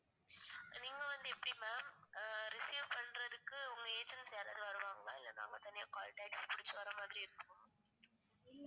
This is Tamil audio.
நீங்க வந்து எப்டி ma'am அஹ் receive ண்றதுக்கு உங்க agents யாராவது வருவாங்களா இல்ல நாங்க தனியா call taxi புடிச்சி வர மாதிரி இருக்குமா?